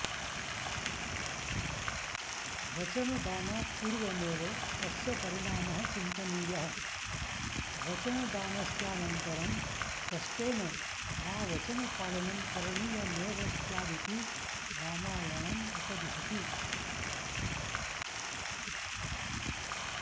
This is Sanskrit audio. वचनदानात् पूर्वमेव तस्य परिणामः चिन्तनीयः वचनदानस्यानन्तरं कष्टेन वा वचनपालनं करणीयमेव स्यादिति रामायणमुपदिशति